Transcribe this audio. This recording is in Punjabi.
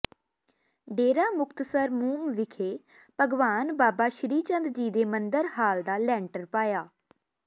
ਡੇਰਾ ਮੁਕਤਸਰ ਮੂੰਮ ਵਿਖੇ ਭਗਵਾਨ ਬਾਬਾ ਸ੍ਰੀ ਚੰਦ ਜੀ ਦੇ ਮੰਦਿਰ ਹਾਲ ਦਾ ਲੈਂਟਰ ਪਾਇਆ